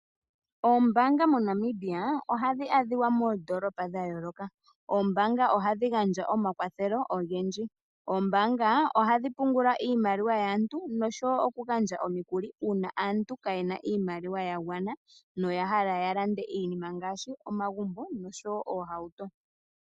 Ombaanga moNamibia ohadhi adhika moondolopa dha yooloka, ohadhi gandja omayakulo ogendji. Ohadhi pungula iimaliwa yaantu noshowo okugandja omikuli uuna aantu kaye na iimaliwa ya gwana noya hala okulanda omagumbo nenge oohauto.